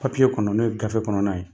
Papiye kɔnɔ n'o ye gafe kɔnɔna ye